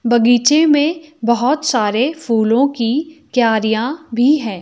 बगीचे में बहोत सारे फूलों की क्यारियां भी हैं।